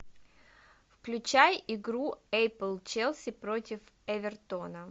включай игру апл челси против эвертона